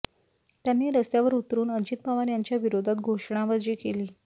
त्यांनी रस्त्यावर उतरुन अजित पवार यांच्या विरोधात घोषणाबाजी केली